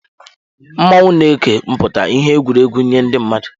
Mmọnwụ na eke pụta ìhè egwuregwu nye ndị mmadụ.